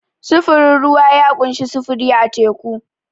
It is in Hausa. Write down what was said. Sufurin ruwa ya ƙunshi sufuri a teku.